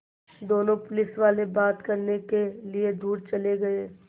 दोनों पुलिसवाले बात करने के लिए दूर चले गए